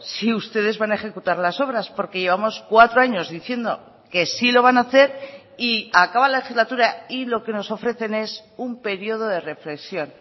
si ustedes van a ejecutar las obras porque llevamos cuatro años diciendo que sí lo van a hacer y acaba la legislatura y lo que nos ofrecen es un periodo de reflexión